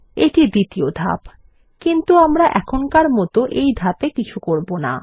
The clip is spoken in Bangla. এটি দ্বিতীয় ধাপ কিন্তু আমরা এখনকার মত এই ধাপ এ কিছু করব না